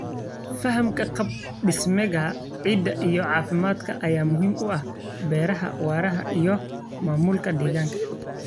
Fahamka qaab dhismeedka ciidda iyo caafimaadka ayaa muhiim u ah beeraha waara iyo maamulka deegaanka.